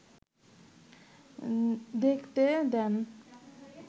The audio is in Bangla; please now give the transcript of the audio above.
দেখতে দেন